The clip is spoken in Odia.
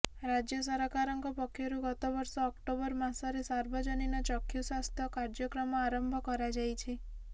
ରାଜ୍ୟ ସରକାରଙ୍କ ପକ୍ଷରୁ ଗତବର୍ଷ ଅକ୍ଟୋବର ମାସରେ ସାର୍ବଜନୀନ ଚକ୍ଷୁ ସ୍ୱାସ୍ଥ୍ୟ କାର୍ଯ୍ୟକ୍ରମ ଆରମ୍ଭ କରାଯାଇଛି